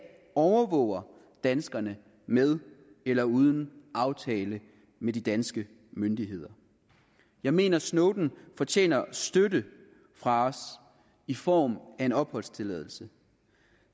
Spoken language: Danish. overvåger danskerne med eller uden aftale med de danske myndigheder jeg mener at snowden fortjener støtte fra os i form af en opholdstilladelse